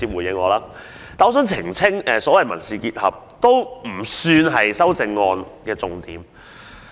不過，我想澄清所謂的"民事結合"也並非修正案的重點。